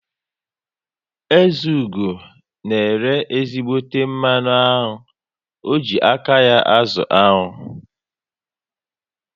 Ezeugo na ere ezígbóté mmanụ aṅụ, o ji aka ya azụ aṅụ